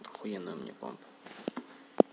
охуенный у меня план